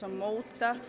móta